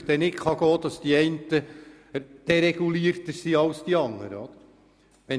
Es geht ja nicht, dass die einen mehr dereguliert sind als die anderen.